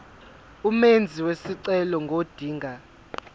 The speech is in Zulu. umenzi wesicelo ngodinga